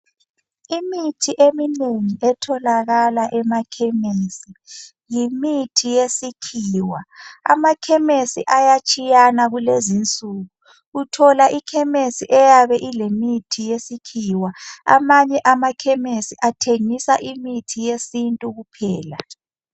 Imithi eminengi etholakala emakhemesi yimithi yesikhiwa amakhemesi ayatshiyana kulezinsuku uthola ikhemesi eyabe ilemithi yesikhiwa amanye amakhemesi athengisa imithi yesintu kuphela.